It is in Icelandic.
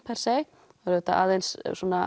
auðvitað aðeins